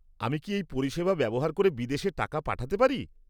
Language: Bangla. আমি কি এই পরিষেবা ব্যবহার করে বিদেশে টাকা পাঠাতে পারি?